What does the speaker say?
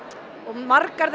margar